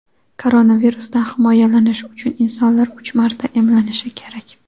koronavirusdan himoyalanish uchun insonlar uch marta emlanishi kerak.